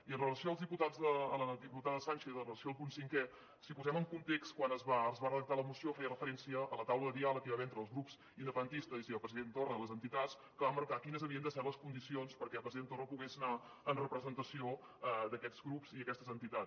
i en relació als diputats a la diputada sànchez en relació al punt cinquè si posem en context quan es va redactar la moció feia referència a la taula de diàleg que hi va haver entre els grups independentistes i el president torra i les entitats que van marcar quines havien de ser les condicions perquè el president torra pogués anar en representació d’aquests grups i aquestes entitats